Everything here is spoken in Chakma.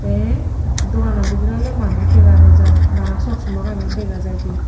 eh dogano bidirey oley manus dega nojai bana soksomagani dega jai de.